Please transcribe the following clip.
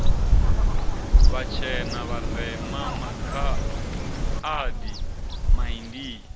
vhatshena vharema makha adi maindia